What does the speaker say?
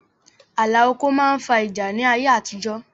Ààlà oko máa ń fa ìjà ni ayé àtijọ́